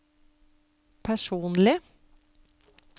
personlig